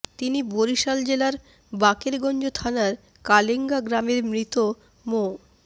তিনি বরিশাল জেলার বাকেরগঞ্জ থানার কালেংগা গ্রামের মৃত মো